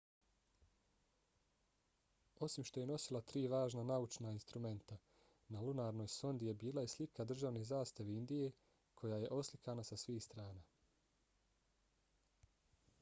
osim što je nosila tri važna naučna instrumenta na lunarnoj sondi je bila i slika državne zastave indije koja je oslikana sa svih strana